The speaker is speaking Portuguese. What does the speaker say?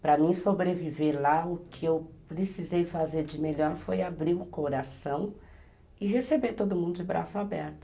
Para mim sobreviver lá, o que eu precisei fazer de melhor foi abrir o coração e receber todo mundo de braços aberto.